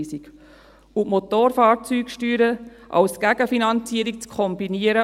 Und ebenfalls kein Grund für die Rückweisung ist es, die Motorfahrzeugsteuern als Gegenfinanzierung zu kombinieren.